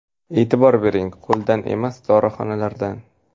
E’tibor bering qo‘ldan emas, dorixonalardan.